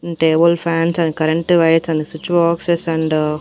table fans and current wires and switch boxes and --